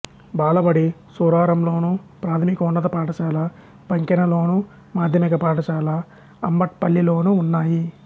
బాలబడి సూరారంలోను ప్రాథమికోన్నత పాఠశాల పంకెనలోను మాధ్యమిక పాఠశాల అంబట్పల్లిలోనూ ఉన్నాయి